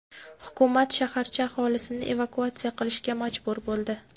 Hukumat shaharcha aholisini evakuatsiya qilishga majbur bo‘ldi.